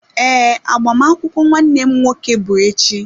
Ee, agbamakwụkwọ nwanne m nwoke bụ echi.